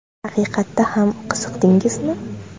Haqiqatda ham qiziqdingizmi?